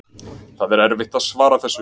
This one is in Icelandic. Það er erfitt að svara þessu.